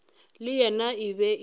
le yena e be e